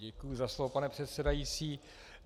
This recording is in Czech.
Děkuji za slovo, pane předsedající.